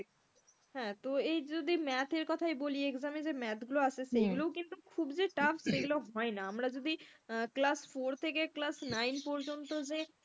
হ্যাঁ তো এই যদি math কথাই বলি exam এ যে math গুলো আসে সেগুলোও কিন্তু খুব যে tough সেগুলো হয়না, আমরা যদি class four থেকে class nine পর্যন্ত যে,